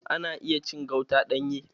Ana iya cin gauta ɗanye.